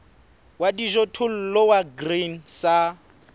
wa dijothollo wa grain sa